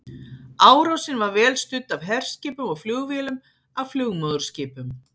Árásin var vel studd af herskipum og flugvélum af flugmóðurskipum.